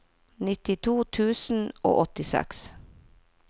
nittito tusen og åttiseks